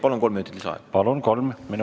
Palun kolm minutit lisaaega!